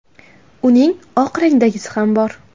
Uning oq rangdagisi ham bor.